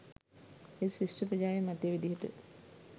ඒත් ශිෂ්‍ය ප්‍රජාවේ මතය විදිහට